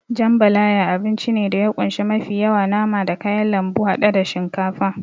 Jambalaya abinci ne da ya kunshi mafi yawa nama da kayan lambu haɗe da shinkafa.